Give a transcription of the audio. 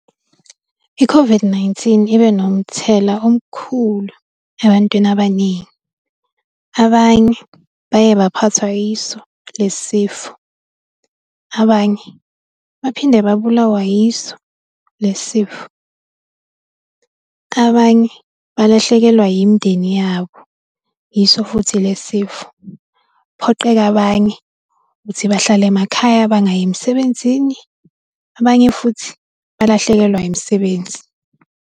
I-COVID-19 ibe nomthelela omkhulu ebantwini abaningi. Abanye baye baphathwa yiso lesi sifo, abanye baphinde babulawa yiso lesi sifo. Abanye balahlekelwa imindeni yabo, yiso futhi le sifo, kuphoqeka abanye ukuthi bahlale emakhaya bangayi emsebenzini, abanye futhi balahlekelwa imisebenzi.